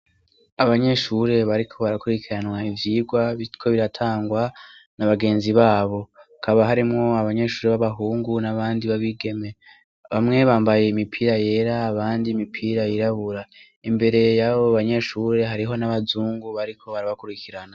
Abanyeshure bariko barakurikirana ivyigwa biriko biratangwa n'abagenzi babo, hakaba harimwo abanyeshure b'abahungu n'abandi b'abigeme. Bamwe bambaye imipira yera, abandi imipira yirabura. Imbere y'abo banyeshure hariho n'abazungu bariko barabakurikirana.